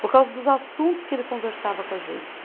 Por causa dos assuntos que ele conversava com a gente.